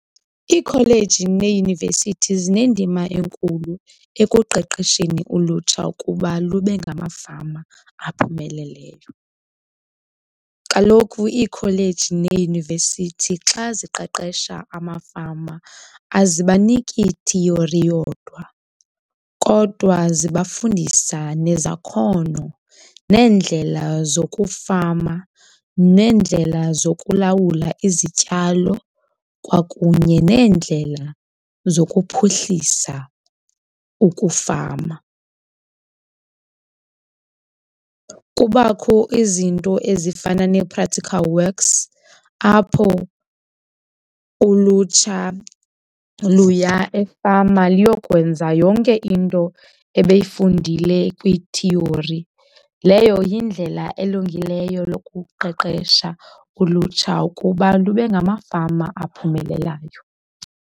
Iikholeji neeyunivesithi zinendima enkulu ekuqeqesheni ulutsha ukuba lube ngamafama aphumeleleyo. Kaloku iikholeji neeyunivesithi xa ziqeqesha amafama azibaniki theory yodwa kodwa zibafundisa nezakhono, neendlela zokufama, neendlela zokulawula izityalo kwakunye neendlela zokuphuhlisa ukufama. Kubakho izinto ezifana nee-practical works apho ulutsha luya efama liyokwenza yonke into ebeyifundile kwi-theory, leyo yindlela elungileyo yokuqeqesha ulutsha ukuba lube ngamafama abaphumelelayo.